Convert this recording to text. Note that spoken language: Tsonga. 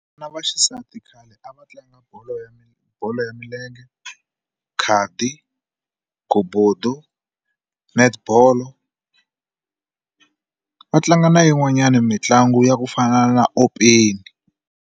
Na vaxisati khale a va tlanga bolo ya milenge bolo ya milenge khadi ghobodo netball va tlanga na yin'wanyana mitlangu ya ku fana na .